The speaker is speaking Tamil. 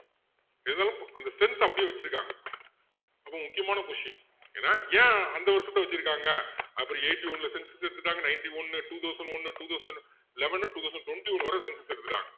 இருந்தாலும் அந்த strength அ அப்படியே வச்சிருக்காங்க ரொம்ப முக்கியமான question என்ன ஏன் அந்த வருஷத்தை வச்சிருக்காங்க அதுக்கு பிறகு eighty-two ல census எடுத்துட்டாங்க ninety one two thousand one two thousand eleven two thousand twenty one வரை census எடுத்துட்டாங்க